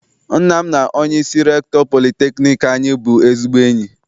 Nna m na onyeisi rektọ politekniik anyị bụ ezigbo enyi.